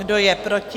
Kdo je proti?